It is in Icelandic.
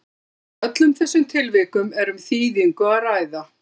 í öllum þessum tilvikum er um þýðingu að ræða